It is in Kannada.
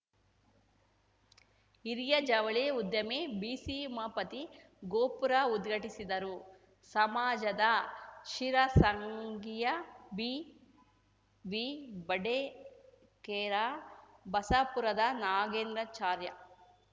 ಹಿರಿಯ ಜವಳಿ ಉದ್ಯಮಿ ಬಿಸಿ ಉಮಾಪತಿ ಗೋಪುರ ಉದ್ಘಾಟಿಸಿದರು ಸಮಾಜದ ಶಿರಸಂಗಿಯ ಬಿಬಿಬಡಿಗೇರ ಬಸಾಪುರದ ನಾಗೇಂದ್ರಾಚಾರ್ಯ